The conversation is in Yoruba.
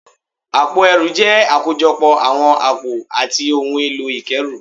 Àpò ẹrù jẹ́ àkójọpọ̀ àwọn àpò àti ohun èlò ìkẹ́rù